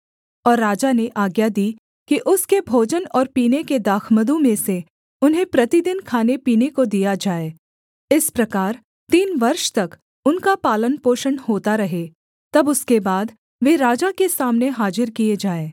और राजा ने आज्ञा दी कि उसके भोजन और पीने के दाखमधु में से उन्हें प्रतिदिन खानेपीने को दिया जाए इस प्रकार तीन वर्ष तक उनका पालनपोषण होता रहे तब उसके बाद वे राजा के सामने हाजिर किए जाएँ